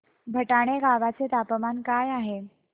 भटाणे गावाचे तापमान काय आहे